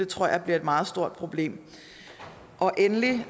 tror jeg bliver et meget stort problem endelig